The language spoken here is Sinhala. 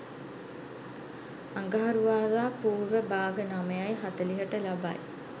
අඟහරුවාදා පූර්ව භාග 09.40ට ලබයි.